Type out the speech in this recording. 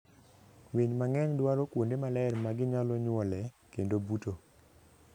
Winy mang'eny dwaro kuonde maler ma ginyalo nyuolee kendo buto.